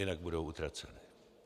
Jinak budou utraceny.